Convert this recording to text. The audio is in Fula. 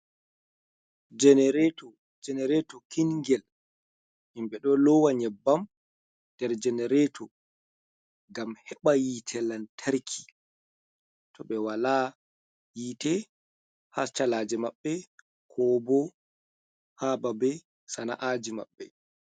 Jenerato jenerato kingel, himɓɓe ɗo lowa nyeɓɓam nder jenerato ngam heɓa yitte lantarki to ɓe wala yite ha ci’eji maɓɓe, ko bo ha babe sana’aji maɓɓe.